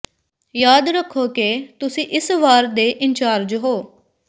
ਯਾਦ ਰੱਖੋ ਕਿ ਤੁਸੀਂ ਇਸ ਵਾਰ ਦੇ ਇੰਚਾਰਜ ਹੋ